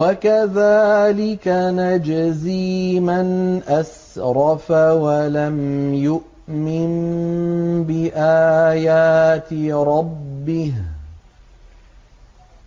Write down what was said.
وَكَذَٰلِكَ نَجْزِي مَنْ أَسْرَفَ وَلَمْ يُؤْمِن بِآيَاتِ رَبِّهِ ۚ